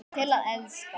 Til að elska.